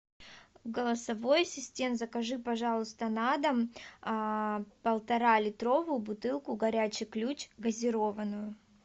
голосовой ассистент закажи пожалуйста на дом а полтора литровую бутылку горячий ключ газированную